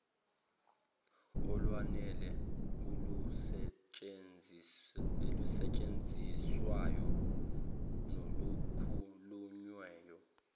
olwanele olusetshenziswayo nolukhulunywayo